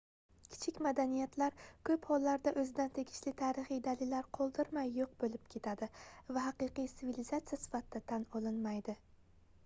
kichik madaniyatlar koʻp hollarda oʻzidan tegishli tarixiy dalillar qoldirmay yoʻq boʻlib ketadi va haqiqiy sivilizatsiya sifatida tan olinmaydi